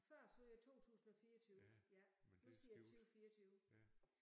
Før sagde jeg 2024 ja nu siger jeg 20 24